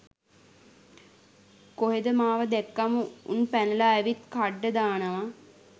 කොහෙද මාව දැක්කම උන් පැනල ඇවිත් කඩ්ඩ දානවා